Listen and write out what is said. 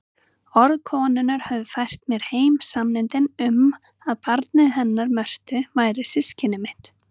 Orð konunnar höfðu fært mér heim sanninn um að barnið hennar Mörtu væri systkini mitt.